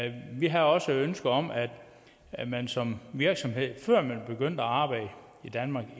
ind vi har også ønsket om at man som virksomhed før man begyndte at arbejde i danmark